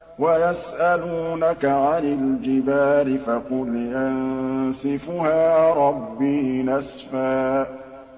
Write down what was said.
وَيَسْأَلُونَكَ عَنِ الْجِبَالِ فَقُلْ يَنسِفُهَا رَبِّي نَسْفًا